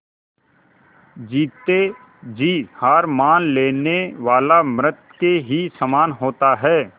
जीते जी हार मान लेने वाला मृत के ही समान होता है